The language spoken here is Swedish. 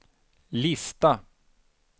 lista